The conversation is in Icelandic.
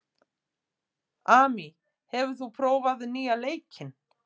Amy, hefur þú prófað nýja leikinn?